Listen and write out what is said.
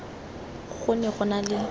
go ne go na le